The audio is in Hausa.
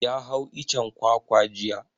Ya hau icen kwakwa jiya.